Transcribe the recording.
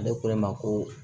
Ale ko ne ma ko